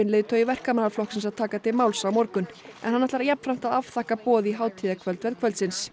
leiðtogi Verkamannaflokksins að taka til máls á morgun en hann ætlar jafnframt að afþakka boð í hátíðarkvöldverð kvöldsins